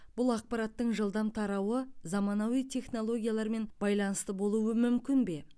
бұл ақпараттың жылдам тарауы заманауи технологиялармен байланысты болуы мүмкін бе